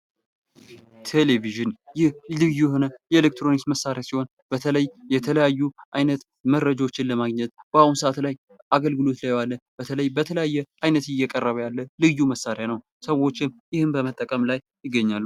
ቴሌቪዥን ይህ ልዩ የሆነ የኤሌክትሮኒክስ መሳሪያ ሲሆን በተለይ የተለያዩ አይነት መረጃዎችን ለማግኘት በአሁኑ ሰዓት ላይ አገልግሎት ላይ የዋለ በተለይ በተለያየ አይነት እየቀረበ ያለ ልዩ መሳሪያ ነዉ። ሰዎችም ይህን በመጠቀም ላይ ይገኛሉ።